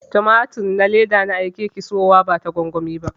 Tumatir na leda na aike ki siyowa bata gwangwani ba.